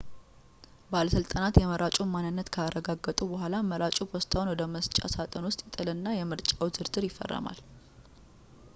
ባለሥልጣናት የመራጩን ማንነት ካረጋገጡ በኋላ መራጩ ፖስታውን ወደ መስጫ ሳጥኑ ውስጥ ይጥልና የምርጫውን ዝርዝር ይፈርማል